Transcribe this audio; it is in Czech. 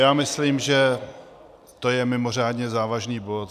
Já myslím, že to je mimořádně závažný bod.